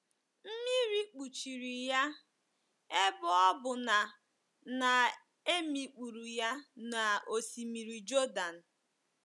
Mmiri kpuchiri ya, ebe ọ bụ na na e mikpuru ya n’Osimiri Jọdan.